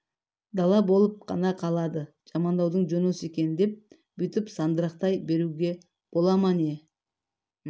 дала болып қана қалады жамандаудың жөні осы екен деп бүйтіп сандырақтай беруге бола ма не